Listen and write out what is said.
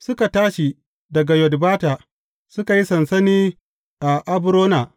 Suka tashi daga Yotbata, suka yi sansani a Abrona.